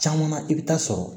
Caman i bɛ taa sɔrɔ